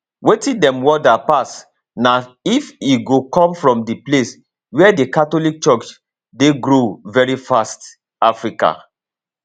wetin dem wonder pass na if e go come from di place wia di catholic church dey grow veri fast africa